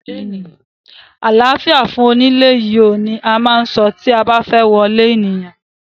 Àláfíà fún onílé yìí oo! ni a má ń so tí a ba fẹ́ wọlé ènìyàn.